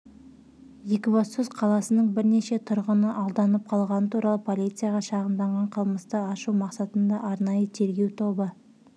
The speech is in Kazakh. екібастұз қаласының бірнеше тұрғыны алданып қалғаны туралы полицияға шағымданған қылмысты ашу мақсатында арнайы тергеу тобы